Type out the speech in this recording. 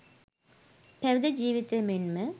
පැවිදි ජීවිතය මෙන්ම